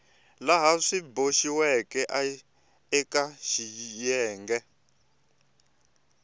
laha swi boxiweke eka xiyenge